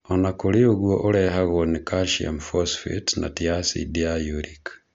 Ona kũrĩ ũguo ũrehagwo nĩ calcium phosphate na ti acidi ya uric.